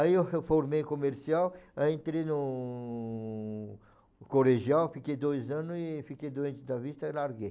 Aí eu fo formei comercial, aí entrei no no colegial, fiquei dois anos aí fiquei doente da vista e larguei.